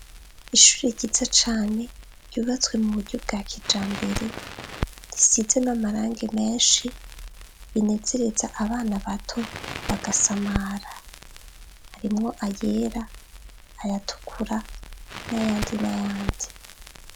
Ishure ryiza cane ryubatse mu buryo bwa kijambere, risize n'amarangi menshi, binezereza abana bato bagasamara. Harimo ayera, ayatukura, n'ayandi, n'ayandi.